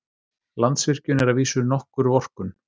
Landsvirkjun er að vísu nokkur vorkunn.